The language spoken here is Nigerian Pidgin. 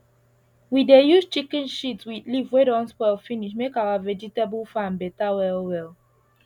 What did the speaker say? we dey use chicken shit with leaf wey don spoil finish make our vegetable farm better well well